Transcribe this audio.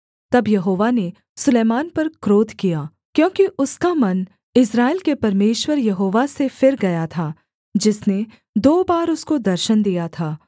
तब यहोवा ने सुलैमान पर क्रोध किया क्योंकि उसका मन इस्राएल के परमेश्वर यहोवा से फिर गया था जिसने दो बार उसको दर्शन दिया था